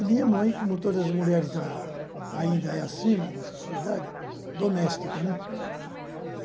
E minha mãe, como todas as mulheres da ainda é assim na nossa sociedade, doméstica, né.